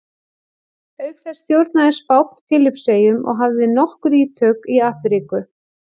Auk þessa stjórnaði Spánn Filippseyjum og hafði nokkur ítök í Afríku.